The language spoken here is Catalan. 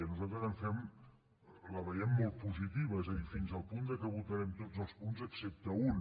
nosaltres la veiem molt positiva és a dir fins al punt que en votarem tots els punts excepte un